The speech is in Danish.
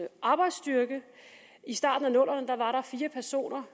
arbejdsstyrke i starten af nullerne var der fire personer